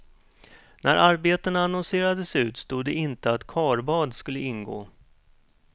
När arbetena annonserades ut stod det inte att karbad skulle ingå.